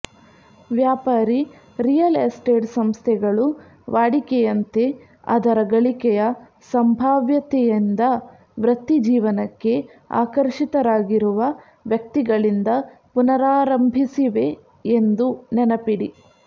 ವ್ಯಾಪಾರಿ real estate ಸಂಸ್ಥೆಗಳು ವಾಡಿಕೆಯಂತೆ ಅದರ ಗಳಿಕೆಯ ಸಂಭಾವ್ಯತೆಯಿಂದ ವೃತ್ತಿಜೀವನಕ್ಕೆ ಆಕರ್ಷಿತರಾಗಿರುವ ವ್ಯಕ್ತಿಗಳಿಂದ ಪುನರಾರಂಭಿಸಿವೆ ಎಂದು ನೆನಪಿಡಿ